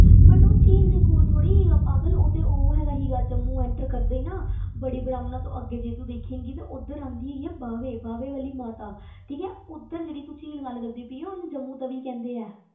But ਉਹ ਝੀਲ ਦੇ ਕੋਲ ਥੋੜ੍ਹੀ ਹੈਗਾ ਪਾਗਲ, ਉਹ ਤੇ ਉਹ ਹੈਗਾ ਸੀਗਾ ਜੰਮੂ enter ਕਰਦੇ ਹੀ ਨਾ ਬੜੀ ਬ੍ਰਾਹਮਣਾ ਤੋਂ ਅੱਗੇ ਜੇ ਤੂੰ ਦੇਖੇਂਗੀ ਤੇ ਉੱਧਰ ਆਉਂਦੀ ਹੈਗੀ ਹੈ ਬਾਵੇ, ਬਾਵੇ ਵਾਲੀ ਮਾਤਾ ਠੀਕ ਹੈ, ਉੱਧਰ ਜਿਹੜੀ ਤੂੰ ਝੀਲ ਗੱਲ ਕਰਦੀ ਪਈ ਹੈਂ, ਉਹਨੂੰ ਜੰਮੂ ਤਵੀ ਕਹਿੰਦੇ ਆ।